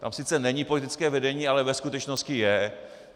Tam sice není politické vedení, ale ve skutečnosti je.